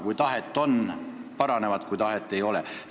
Kui tahet on, need paranevad, kui tahet ei ole ...